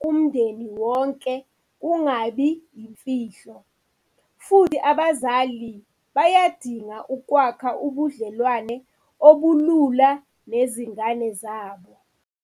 kumndeni wonke kungabi yimfihlo. Futhi, abazali bayadinga ukwakha ubudlelwane obulula nezingane zabo.